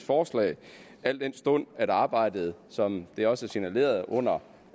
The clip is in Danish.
forslag al den stund at arbejdet som det også er signaleret under